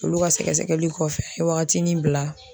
Olu ka sɛgɛsɛli kɔfɛ waagati min bila